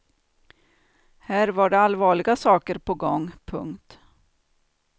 Här var det allvarliga saker på gång. punkt